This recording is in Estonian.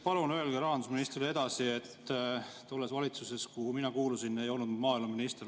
Palun öelge rahandusministrile edasi, et tolles valitsuses, kuhu mina kuulusin, ei olnud ma maaeluminister.